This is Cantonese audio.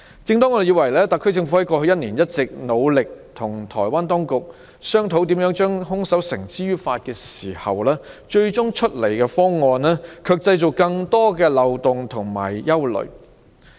正當我們以為特區政府過去一年一直努力與台灣當局商討如何將兇手繩之於法的時候，修例建議卻造成更多的漏洞和帶來憂慮。